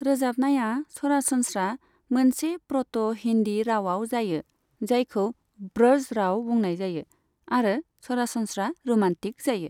रोजाबनाया सरासनस्रा मोनसे प्र'ट' हिन्दी रावाव जायो, जायखौ ब्रज राव बुंनाय जायो आरो सरासनस्रा र'मान्टिक जायो।